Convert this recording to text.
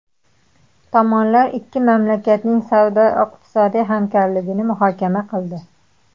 Tomonlar ikki mamlakatning savdo-iqtisodiy hamkorligini muhokama qildi.